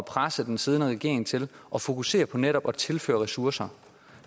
presse den siddende regering til at fokusere på netop at tilføre ressourcer